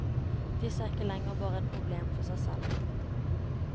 Disse er ikke lenger bare et problem for seg selv.